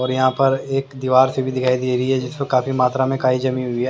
और यहाँ पर एक दीवार से भी दिखाई दे रही है जो काफी मात्रा में काई जमी हुई है।